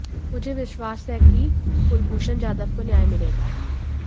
मुझे विश्वास है कि कुलभूषण जाधव को न्याय मिलेगा